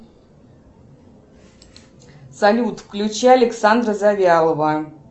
салют включи александра завьялова